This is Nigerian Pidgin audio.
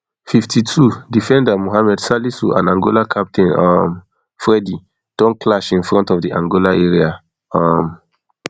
fifty-twodefender mohammed salisu and angola captain um fredy don clash in front of di angola area um